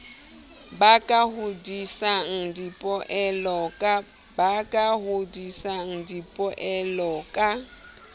ba ka hodisang dipoelo ka